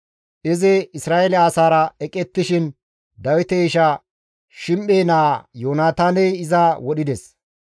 Izi Isra7eele asaara eqettishin Dawite isha Shim7e naa Yoonataaney iza wodhides.